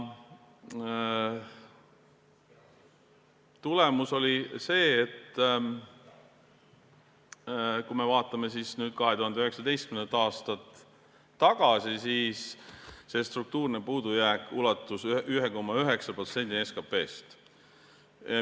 Tulemus oli see – vaatame nüüd 2019. aastale tagasi –, et struktuurne puudujääk ulatus 1,9%-ni SKP-st.